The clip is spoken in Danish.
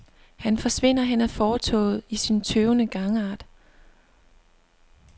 Han forsvinder hen ad fortovet i sin tøvende gangart.